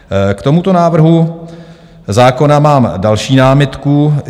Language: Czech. K tomuto návrhu zákona mám další námitku.